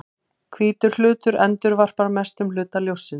Hvítur hlutur endurvarpar mestum hluta ljóssins.